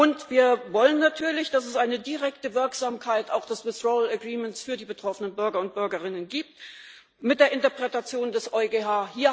Und wir wollen natürlich, dass es eine direkte Wirksamkeit auch des withdrawal agreement für die betroffenen Bürger und Bürgerinnen gibt mit der Interpretation des EuGH.